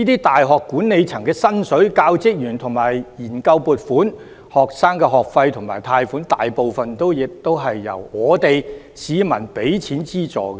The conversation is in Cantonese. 大學管理層的薪酬、教職員的研究撥款、學生的學費及貸款，大部分亦是由市民出資資助的。